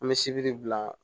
An bɛ sibiri bila